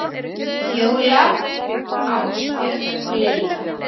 Fjóla, Ásbjörn og Lilja.